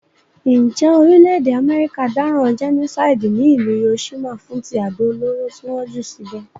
Njé orílẹ̀dè America dáràn genocide ní ìlú Hiroshima fún ti àdó olóró ti won jù síbè